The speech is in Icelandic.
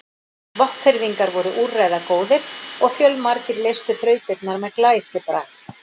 Vopnfirðingar voru úrræðagóðir og fjölmargir leystu þrautirnar með glæsibrag.